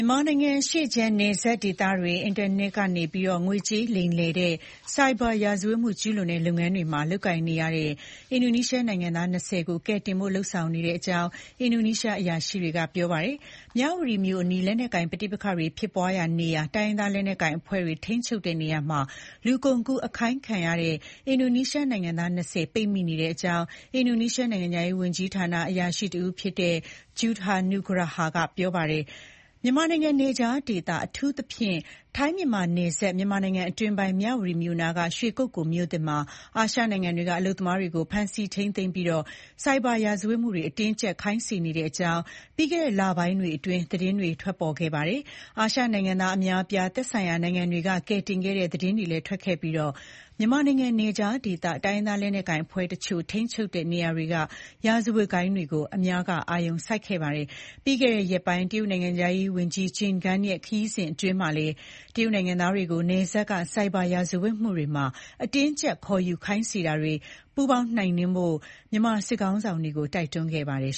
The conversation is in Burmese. ြန်မာနိုင်ငံ အရှေ့ခြမ်း နယ်စပ်ဒေသတွေ အင်တာနက်ကနေ ငွေကြေးလိမ်လည်တဲ့ Cyber ရာဇဝတ်မှုကျူးလွန်တဲ့ လုပ်ငန်းတွေမှာ လုပ်ကိုင်နေရတဲ့ အင်ဒီုနီးရှားနိုင်ငံသား ၂၀ ကို ကယ်တင်ဖို့ လုပ်ဆောင်နေတဲ့အကြောင်း အင်ဒိုနီးရှား အရာရှိတွေက ပြောပါတတယ်။ မြဝတီမြို့အနီး လက်နက်ကိုင် ပဋိပက္ခတွေ ဖြစ်ပွားရာနေရာ၊ တိုင်းရင်းသားလက်နက်ကိုင် အဖွဲ့တွေ ထိန်းချုပ်ရာနေရာမှာ လူကုန်ကူး အခိုင်းခံခဲ့ရတဲ့ အင်ဒိုနီးရှားနိုင်ငံသား ၂၀ ပိတ်မိနေတဲ့အကြောင်း အင်ဒိုနီးရှား နိုင်ငံခြားရေး ဝန်ကြီးဌာန အရာရှိတဦးဖြစ်တဲ့ Judha Nugraha က ပြောဆိုသွားတာပါ။ မြန်မာနိုင်ငံ နယ်ခြားဒေသ၊ အထူးသဖြင့် ထိုင်းမြန်မာနယ်စပ် မြန်မာနိုင်ငံအတွင်းပိုင်း မြဝတီမြို့အနီး ရွှေကုက္ကိုလ် မြို့သစ်မှာ အာရှနိုင်ငံတွေက အလုပ်သမားတွေကို ဖမ်းဆီးထိန်းသိမ်းပြီး ဆိုက်ဘာရာဇဝတ်မှုတွေ အတင်းအကျပ် ခိုင်းစေနေတဲ့အကြောင်း ပြီးခဲ့တဲ့ လပိုင်းတွေအတွင်း သတင်းတွေ ထွက်ပေါ်ခဲ့ပါတယ်။ အာရှနိုင်ငံသားတွေ အများအပြား သက်ဆိုင်ရာ နိုင်ငံတွေက ကယ်တင်ခဲ့တဲ့ သတင်းတွေလည်း ထွက်ပေါ်ခဲ့ပြီး မြန်မာနိုင်ငံ နယ်ခြားဒေ တိုင်းရင်းသား လက်နက်ကိုင်အဖွဲ့တချို့ ထိန်းချုပ်တဲ့နေရာတွေက ရာဇဝတ်ဂိုဏ်းတွေကို အများက အာရုံစိုက်ခဲ့ကြပါတယ်။ ပြီးခဲ့တဲ့ ရက်ပိုင်း တရုတ်နိုင်ငံခြားရေး ဝန်ကြီး Qin Gang ရဲ့ ခရီးစဉ်အတွင်းမှာလည်း တရုတ်နိုင်ငံသားတွေကို နယ်စပ်က ဆိုက်ဘာ ရာဇဝတ်မှုတွေမှာ အတင်းအကြပ် ခေါ်ယူခိုင်းစေနေတာတွေ ပူးပေါင်း နှိမ်နှင်းဖို့ မြန်မာစစ်ခေါင်းဆောင်တွေကို တိုက်တွန်းခဲ့ပါတယ်